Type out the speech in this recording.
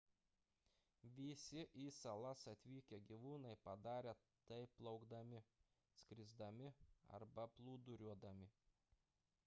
visi į salas atvykę gyvūnai padarė tai plaukdami skrisdami arba plūduriuodami